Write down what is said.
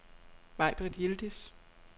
Mai-Britt Yildiz